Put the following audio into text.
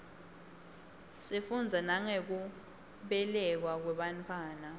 sifundza nangekubelekwa kwebantfwana